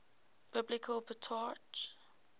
biblical patriarchs